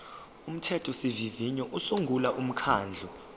umthethosivivinyo usungula umkhandlu